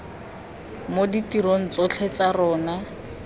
mo ditirong tsotlhe tsa tsona